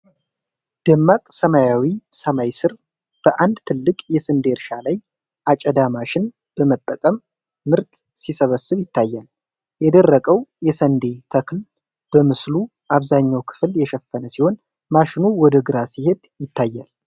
ደማቅ ሰማያዊ ሰማይ ስር፣ በአንድ ትልቅ የስንዴ እርሻ ላይ አጨዳ ማሽን በመጠቀም ምርት ሲሰበሰብ ይታያል። የደረቀው የስንዴ ተክል በምስሉ አብዛኛው ክፍል የሸፈነ ሲሆን፣ ማሽኑ ወደ ግራ ሲሄድ ይታያል።